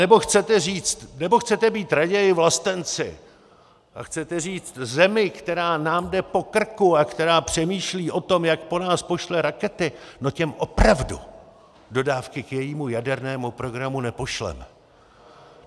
Anebo chcete říct, nebo chcete být raději vlastenci a chcete říct zemi, která nám jde po krku a která přemýšlí o tom, jak po nás pošle rakety, no těm opravdu dodávky k jejímu jadernému programu nepošleme.